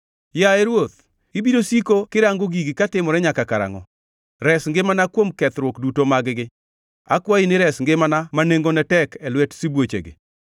Yaye Ruoth, ibiro siko kirango gigi katimore nyaka karangʼo? Res ngimana kuom kethruok duto mag-gi. Akwayi ni ires ngimana ma nengone tek e lwet sibuochegi.